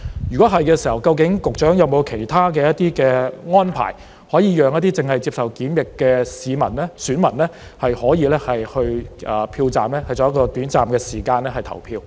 如果是，究竟局長有否其他安排，讓一些正在接受檢疫的選民可以到票站，在短暫的時間內投票？